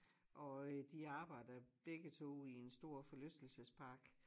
Og øh de arbejder begge to i en stor forlystelsespark